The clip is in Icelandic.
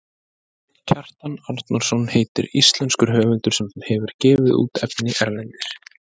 Kjartan Arnórsson heitir íslenskur höfundur sem hefur gefið út efni erlendis.